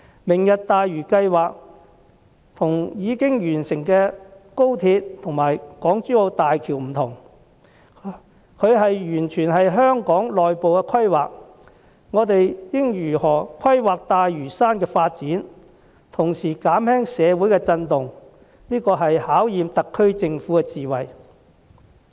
"明日大嶼"計劃和已經完成的高鐵和港珠澳大橋不同，它完全是香港內部的規劃，我們應如何規劃大嶼山的發展，同時減輕社會的震盪，這是對特區政府智慧的考驗。